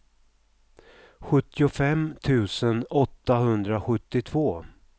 sjuttiofem tusen åttahundrasjuttiotvå